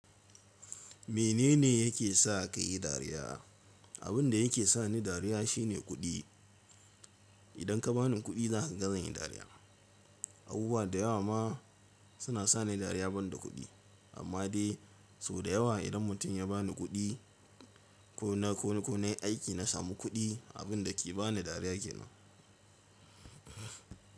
Menene yake sa ka yi dariya? Abin da yake sa ni dariya shine kuɗi. Idan ka ba ni kuɗi za ka ga zan yi dariya. Abubuwa da yawa ma suna sa ni dariya banda kuɗi, amma dai sau da yawa idan mutum ya ba ni kuɗi ko na ko na yi aiki na samu kuɗi, abin da ke ba ni dariya ke nan.